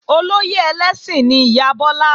Olóyè ẹlẹ́sìn ni ìyá Bọ́lá